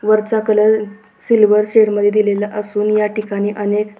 वरचा colour silver shade मध्ये दिलेला असून याठिकाणी अनेक--